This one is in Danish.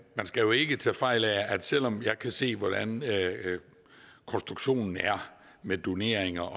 skal jo ikke tage fejl selv om jeg kan se hvordan konstruktionen er med doneringer